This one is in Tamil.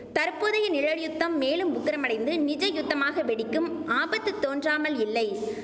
தற்போதைய நிழல்யுத்தம் மேலும் உக்கிரமடைந்து நிஜ யுத்தமாக வெடிக்கும் ஆபத்து தோன்றாமல் இல்லை